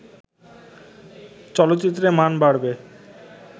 চলচ্চিত্রের মান বাড়বে